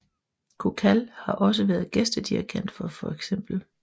Kukal har også været gæstedirigent for feks